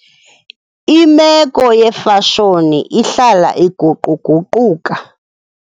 Imeko yeefashoni ihlala iguquguquka.